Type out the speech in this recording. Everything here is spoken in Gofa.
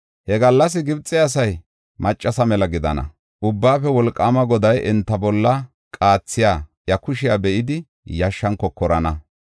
He gallas Gibxe asay maccasa mela gidana. Enti Ubbaafe Wolqaama Goday enta bolla qaathiya iya kushiya be7idi yashshan kokorana.